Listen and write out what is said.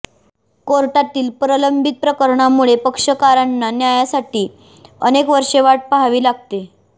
कोर्टातील प्रलंबित प्रकरणांमुळे पक्षकारांना न्यायासाठी अनेक वर्षे वाट पहावी लागते